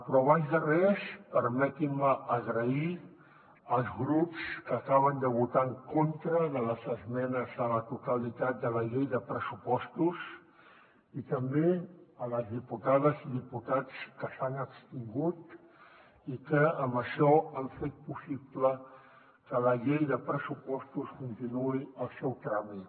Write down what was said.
però abans de res permetin me donar les gràcies als grups que acaben de votar en contra de les esmenes a la totalitat de la llei de pressupostos i també a les diputades i diputats que s’hi han abstingut i que amb això han fet possible que la llei de pressupostos continuï el seu tràmit